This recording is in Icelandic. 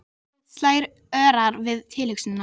Hjarta mitt slær örar við tilhugsunina.